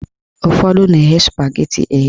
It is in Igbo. Ụfọdụ na-eghe spageti eghe.